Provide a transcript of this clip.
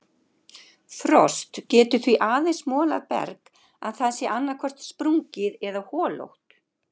Frost getur því aðeins molað berg að það sé annaðhvort sprungið eða holótt.